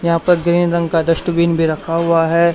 यहां पर ग्रीन रंग का डस्टबिन भी रखा हुआ है।